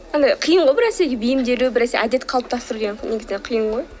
андай қиын ғой бір нәрсеге бейімделу бір нәрсе әдет қалыптастыру деген негізінен қиын ғой